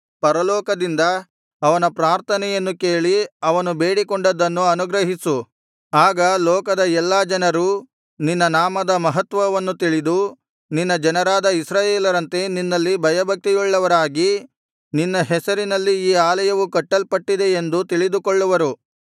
ಪರಲೋಕದಿಂದ ಅವನ ಪ್ರಾರ್ಥನೆಯನ್ನು ಕೇಳಿ ಅವನು ಬೇಡಿಕೊಂಡದ್ದನ್ನು ಅನುಗ್ರಹಿಸು ಆಗ ಲೋಕದ ಎಲ್ಲಾ ಜನರೂ ನಿನ್ನ ನಾಮದ ಮಹತ್ವವನ್ನು ತಿಳಿದು ನಿನ್ನ ಜನರಾದ ಇಸ್ರಾಯೇಲರಂತೆ ನಿನ್ನಲ್ಲಿ ಭಯಭಕ್ತಿಯುಳ್ಳವರಾಗಿ ನಿನ್ನ ಹೆಸರಿನಲ್ಲಿ ಈ ಆಲಯವು ಕಟ್ಟಲ್ಪಟಿದ್ದೆಯೆಂದು ತಿಳಿದುಕೊಳ್ಳುವರು